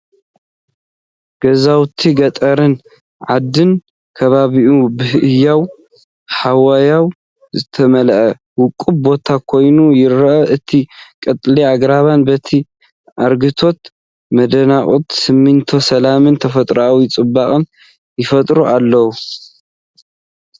ገዛውቲ ገጠርን ዓድን ከባቢኡን ብህያው ሃዋህው ዝተመልአ ውቁብ ቦታ ኮይኑ ይረአ። እቲ ቀጠልያ ኣግራብን በቲ ኣረግቶት መናድቕን ስምዒት ሰላምን ተፈጥሮኣዊ ጽባቐን ይፈጥር ኣሎ።